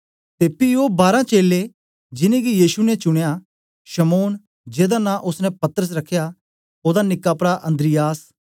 ते पी ओ बारां चेलें जिनेंगी यीशु ने चुनयां शमौन जेदा नां ओसने पतरस रखया ओदा निक्का प्रा अन्द्रियास